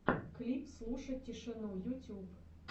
клип слушать тишину ютюб